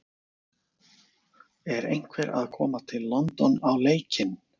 Er einhver að koma til London á leikinn?!